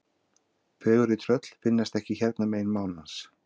Fegurri tröll finnast ekki hérna megin mánans.